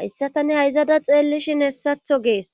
hayssa tani hayzada xeellishin hessatho gees